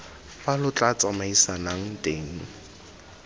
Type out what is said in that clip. fa lo tla tsamaisanang teng